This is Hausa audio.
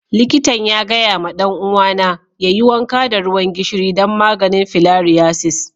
Likatan ya gaya ma dan uwa na yayi wanka da ruwan gishiri dan maganin filariasis.